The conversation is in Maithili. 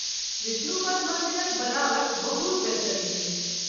विष्णु पद मंदिरक बनावट बहुत बेहतरीन अछि।